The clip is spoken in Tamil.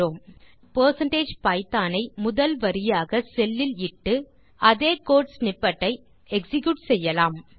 இப்போது நாம் பெர்சென்டேஜ் பைத்தோன் ஐ முதல் வரியாக செல் லில் இட்டு அதே கோடு ஸ்னிப்பெட் ஐ எக்ஸிக்யூட் செய்யலாம்